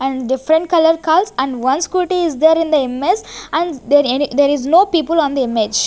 and different colour cars and once scooty is there in the imaze and there any there is no people on the image.